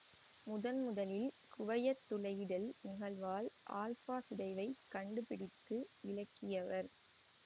முதன்முதலில் குவையத் துளையிடல் நிகழ்வால் ஆல்பா சிதைவைக் கண்டுபிடித்து விளக்கியவர்